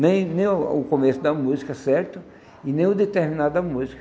Nem nem o começo da música certo e nem o de terminar da música.